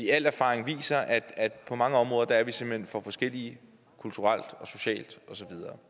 al erfaring viser at på mange områder er vi simpelt hen for forskellige kulturelt socialt og så videre